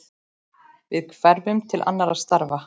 Við hverfum til annarra starfa.